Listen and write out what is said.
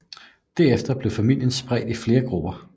Derefter blev familien spredt i flere grupper